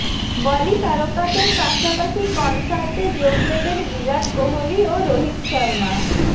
বলি তারকাদের পাশাপাশি কনসার্টে যোগ দেবেন বিরাট কোহলি ও রোহিত শর্মা